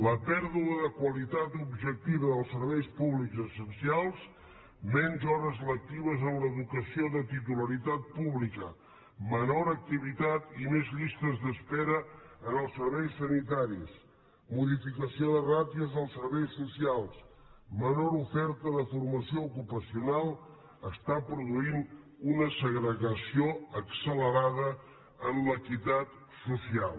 la pèrdua de qualitat objectiva dels serveis públics essencials menys hores lectives en l’educació de titularitat pública menor activitat i més llistes d’espera en els serveis sanitaris modificació de ràtios als serveis socials menor oferta de formació ocupacional està produint una segregació accelerada en l’equitat social